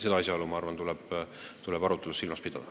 Seda asjaolu, ma arvan, tuleb arutluses silmas pidada.